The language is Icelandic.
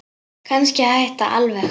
Kannski hætta alveg.